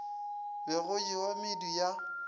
be go jewa medu ya